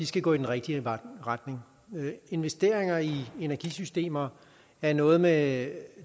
skal gå i den rigtige retning investeringer i energisystemer er noget med